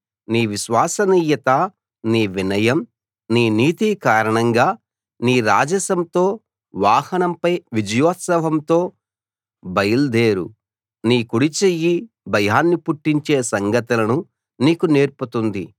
నీ విశ్వసనీయత నీ వినయం నీ నీతి కారణంగా నీ రాజసంతో వాహనంపై విజయోత్సవంతో బయల్దేరు నీ కుడిచెయ్యి భయాన్ని పుట్టించే సంగతులను నీకు నేర్పుతుంది